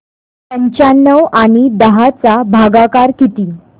पंचावन्न आणि दहा चा भागाकार किती